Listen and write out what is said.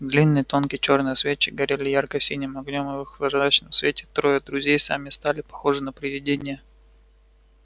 длинные тонкие чёрные свечи горели ярко-синим огнём и в их призрачном свете трое друзей сами стали похожи на привидения